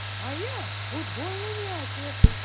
а я футбольный мячик